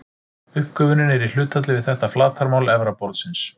Uppgufunin er í hlutfalli við þetta flatarmál efra borðsins.